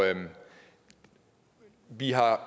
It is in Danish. vi har